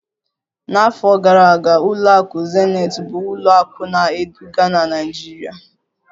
N'afọ gara aga, ụlọakụ zenith bụ ụlọ akụ na-eduga na Naịjirịa